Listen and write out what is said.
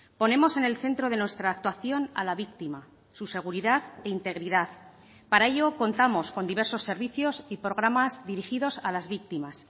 ponemos en el centro de nuestra actuación a la víctima su seguridad e integridad para ello contamos con diversos servicios y programas dirigidos a las víctimas